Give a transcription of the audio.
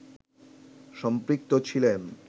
সম্পৃক্ত ছিলেন